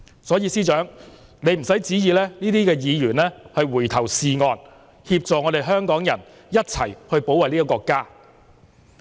所以司長，你不用期望這些議員回頭是岸，協助香港人一起保衞國家。